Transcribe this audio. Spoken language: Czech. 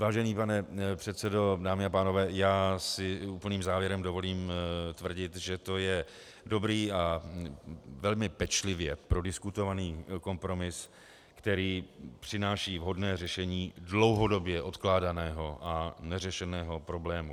Vážený pane předsedo, dámy a pánové, já si úplným závěrem dovolím tvrdit, že to je dobrý a velmi pečlivě prodiskutovaný kompromis, který přináší vhodné řešení dlouhodobě odkládaného a neřešeného problému.